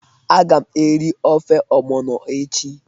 Aga m eri ofe ogbono echi.